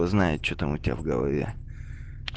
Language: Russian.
знает что там у тебя в голове